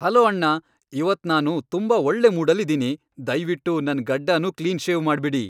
Hello ಅಣ್ಣ. ಇವತ್ ನಾನು ತುಂಬಾ ಒಳ್ಳೆ ಮೂಡಲ್ಲಿದೀನಿ. ದಯ್ವಿಟ್ಟು ನನ್ ಗಡ್ಡನೂ ಕ್ಲೀನ್ ಶೇವ್ ಮಾಡ್ಬಿಡಿ.